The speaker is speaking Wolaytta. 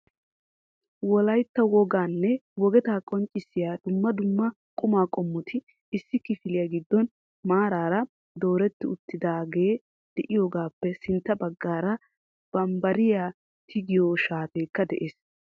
Wolaytta woganne wogeta qonccissiya dumma dumma quma qommoti issi kifiliyaa giddon maaraara dooretti uttidaage de'iyaagappe sintta baggaara bambbariyaa tigiyoo shaatekka de'ees.